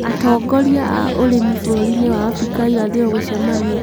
Atongoria a Ũrĩmi Bũrũri-inĩ wa Abrika ya Irathĩro Gũcemanĩa